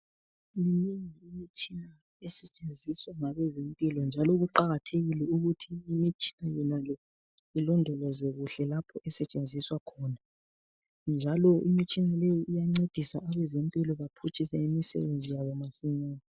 Minengi imitshina esetshenziswa ngabezempilo njalo kuqakathekile ukuthi imitshina le ilondolozwe kuhle lapho esetshenziswa khona, njalo imitshina leyi iyancedisa abezempilo baphutshise imsebenzi yabo masinyane.